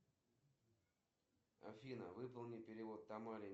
какое время сейчас скажи пожалуйста мне